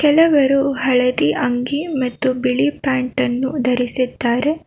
ಕೆಲವರು ಹಳದಿ ಅಂಗಿ ಮತ್ತು ಬಿಳಿ ಪ್ಯಾಂಟ್ ಅನ್ನು ಧರಿಸಿದ್ದಾರೆ.